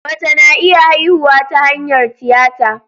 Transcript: Mace na iya haihuwa ta hanyar tiyata.